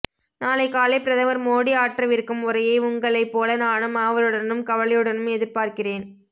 நாளை காலை பிரதமர் மோடி ஆற்றவிருக்கும் உரையை உங்களைப் போல நானும் ஆவலுடனும் கவலையுடனும் எதிர்பார்க்கிறேன்